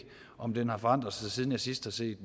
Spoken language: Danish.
om det har forandret sig siden jeg sidst har set